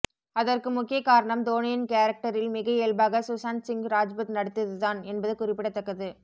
அதற்கு முக்கிய காரணம் தோனியின் கேரக்டரில் மிக இயல்பாக சுசாந்த் சிங் ராஜ்புத் நடித்ததுதான் என்பது குறிப்பிடத்தக்கது